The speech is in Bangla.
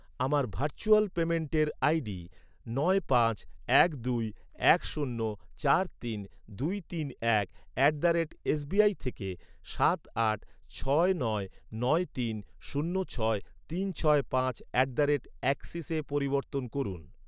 আমার ভার্চুয়াল পেমেন্টের আইডি নয় পাঁচ এক দুই এক শূন্য চার তিন দুই তিন এক অ্যাট দ্য রেট এসবিআই থেকে সাত আট ছয় নয় নয় তিন শূন্য ছয় তিন ছয় পাঁচ অ্যাট দ্য রেট অ্যাক্সিসে পরিবর্তন করুন।